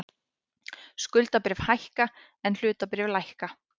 Skuldabréf hækka en hlutabréf lækka